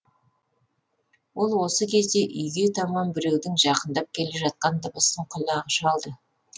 ол осы кезде үйге таман біреудің жақындап келе жатқан дыбысын құлағы шалды